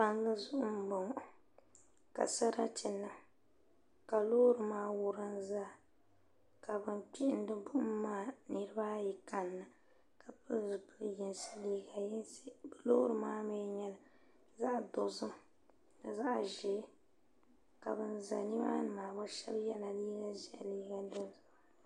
pali zuɣ' n bɔŋɔ ka saratɛ niŋ ka lori maa wurim zaa ka ban kpɛhini bukum maa niribaayi ka ni pɛli zibili yinisi liga yinisi ka lori maa mi nyɛ zaɣ' dozim ni zaɣ' ʒiɛ ka gba za nimaa maa gba yɛla nɛnʒiɛhi ni nɛnpiɛlla